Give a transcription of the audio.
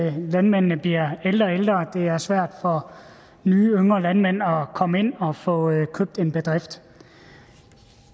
at landmændene bliver ældre og ældre og det er svært for nye yngre landmænd at komme ind og få købt en bedrift